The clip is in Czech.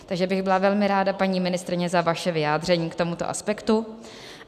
Takže bych byla velmi rád, paní ministryně, za vaše vyjádření k tomuto aspektu.